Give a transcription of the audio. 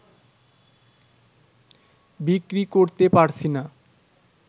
বিক্রি করতে পারছিনা